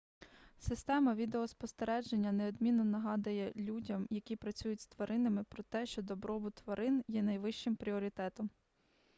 система відеоспостереження неодмінно нагадає людям які працюють з тваринами про те що добробут тварин є найвищим пріоритетом